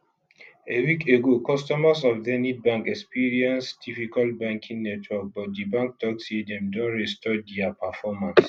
a week ago customers of zenith bank experience difficult banking network but di bank tok say dem don restore dia performance